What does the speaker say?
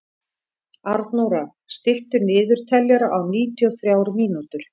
Arnóra, stilltu niðurteljara á níutíu og þrjár mínútur.